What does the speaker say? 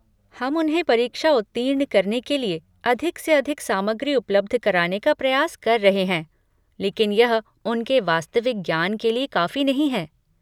हम उन्हें परीक्षा उत्तीर्ण करने के लिए अधिक से अधिक सामग्री उपलब्ध कराने का प्रयास कर रहे हैं, लेकिन यह उनके वास्तविक ज्ञान के लिए काफी नहीं है।